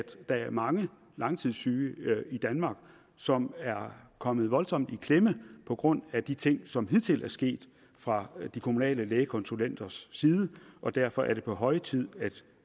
der er mange langtidssyge i danmark som er kommet voldsomt i klemme på grund af de ting som hidtil er sket fra de kommunale lægekonsulenters side og derfor er det på høje tid at